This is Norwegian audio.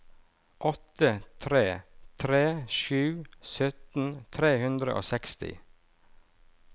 åtte tre tre sju sytten tre hundre og seksti